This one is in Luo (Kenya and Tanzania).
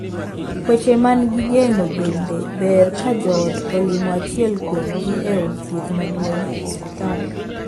Weche man gi geno bende ber ka joot olimo achiel kuomgi e od thieth maduong ('osiptal').